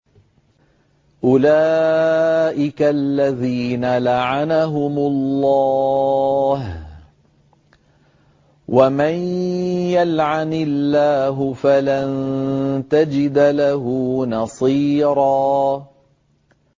أُولَٰئِكَ الَّذِينَ لَعَنَهُمُ اللَّهُ ۖ وَمَن يَلْعَنِ اللَّهُ فَلَن تَجِدَ لَهُ نَصِيرًا